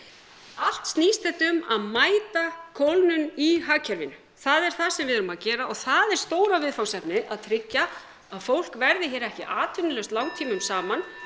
allt snýst þetta um að mæta kólnun í hagkerfinu það er það sem við erum að gera og það er stóra viðfangsefnið að tryggja að fólk verði hér ekki atvinnulaust langtímum saman